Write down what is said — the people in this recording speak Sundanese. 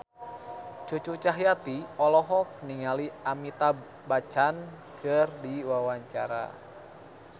Cucu Cahyati olohok ningali Amitabh Bachchan keur diwawancara